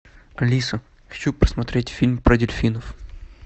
алиса хочу посмотреть фильм про дельфинов